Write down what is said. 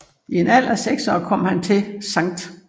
I en alder af 6 år kom han til St